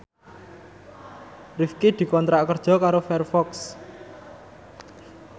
Rifqi dikontrak kerja karo Firefox